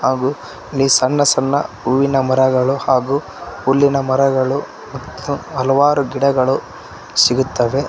ಹಾಗು ಇಲ್ಲಿ ಸಣ್ಣ ಸಣ್ಣ ಹೂವಿನ ಮರಗಳು ಹಾಗು ಹುಲ್ಲಿನ ಮರಗಳು ಮತ್ತು ಹಲವಾರು ಗಿಡಗಳು ಸಿಗುತ್ತವೆ.